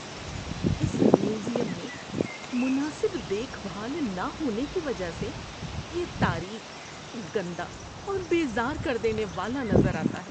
اس museum میں مناسب دیکھ بھال نہ ہونے کی وجہ سے یہ تاریک، گندا اور بیزار کر دینے والا نظر آتا ہے۔